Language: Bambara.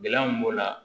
Gɛlɛya min b'o la